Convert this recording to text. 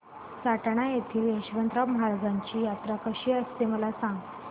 सटाणा येथील यशवंतराव महाराजांची यात्रा कशी असते मला सांग